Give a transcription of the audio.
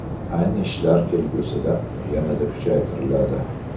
Ayni ishlar kelgusida yanada kuchaytiriladi.